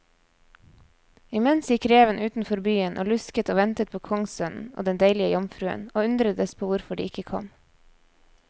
Imens gikk reven utenfor byen og lusket og ventet på kongssønnen og den deilige jomfruen, og undredes på hvorfor de ikke kom.